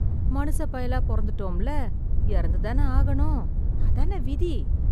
மனுச பயலா பொறந்துட்டோம்ல, இறந்து தான ஆகணும். அதான விதி !